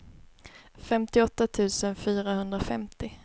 femtioåtta tusen fyrahundrafemtio